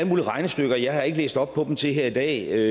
mulige regnestykker jeg har ikke læst op på dem til i dag jeg